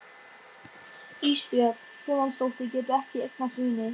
Ísbjörg Guðmundsdóttir getur ekki eignast vini.